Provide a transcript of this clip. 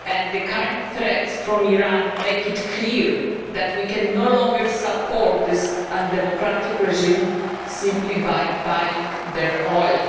The current threats from Iran make it clear that we can no longer support this undemocratic regime by buying their oil.